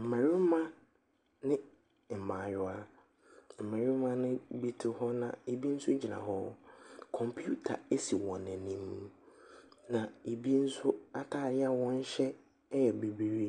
Mmarima ne mmaayewa. Mmarima nobi te hɔ, na ɛbi nso gyina hɔ. Computer si wɔn anim. Na ɛbi nso stadeɛ a wɔhyɛ yɛ bibire.